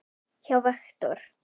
hjá Vektor.